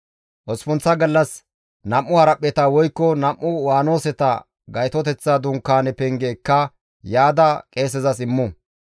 Osppunththa gallas nam7u haraphpheta woykko nam7u waanoseta Gaytoteththa Dunkaane penge ekka yaada qeesezas immu.